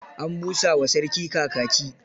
An busa wa sarki kakaki.